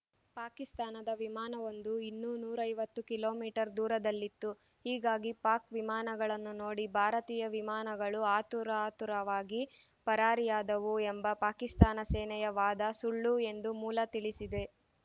ಪಾಕಿಸ್ತಾನದ ವಿಮಾನವೊಂದು ಇನ್ನೂ ನೂರ ಐವತ್ತು ಕಿಲೋ ಮೀಟರ್ ದೂರದಲ್ಲಿತ್ತು ಹೀಗಾಗಿ ಪಾಕ್‌ ವಿಮಾನಗಳನ್ನು ನೋಡಿ ಭಾರತೀಯ ವಿಮಾನಗಳು ಆತುರಾತುರವಾಗಿ ಪರಾರಿಯಾದವು ಎಂಬ ಪಾಕಿಸ್ತಾನ ಸೇನೆಯ ವಾದ ಸುಳ್ಳು ಎಂದು ಮೂಲ ತಿಳಿಸಿದೆ